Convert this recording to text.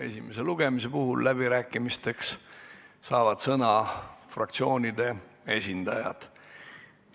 Esimesel lugemisel saavad läbirääkimisteks sõna fraktsioonide esindajad.